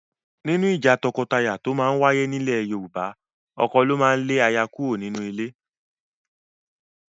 Nínú ìjà tọkọtaya tó máa ń wáyé nílẹ̀ Yorùbá, ọkọ ló máa ń lé aya kúrò nínú ilé